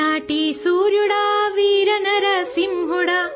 Telugu sound clip 27 seconds Hindi translation